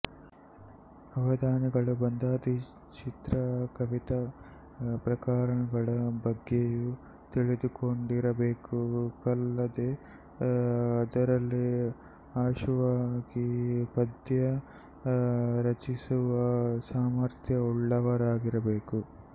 ಅವಧಾನಿಗಳು ಬಂಧಾದಿ ಚಿತ್ರಕವಿತಾ ಪ್ರಕಾರಗಳ ಬಗ್ಗೆಯೂ ತಿಳಿದುಕೊಂಡಿರಬೇಕಲ್ಲದೇ ಅದರಲ್ಲಿ ಆಶುವಾಗಿ ಪದ್ಯ ರಚಿಸುವ ಸಾಮರ್ಥ್ಯ ಉಳ್ಳವರಾಗಿರಬೇಕು